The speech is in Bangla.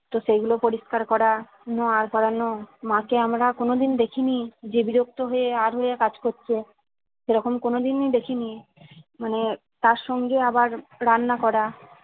তো সেগুলো পরিষ্কার করা পড়ানো মা কে আমরা কোনোদিন দেখিনি যে বিরক্ত হয়ে আর হয়ে কাজ করছে সেরকম কোনোদিন ই দেখিনি মানে তার সঙ্গে আবার রান্না করা